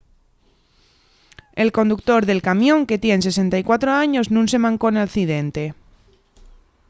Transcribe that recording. el conductor del camión que tien 64 años nun se mancó nel accidente